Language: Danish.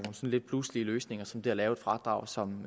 lidt pludselige løsninger som det er at lave et fradrag som